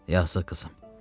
Yazıq qızım.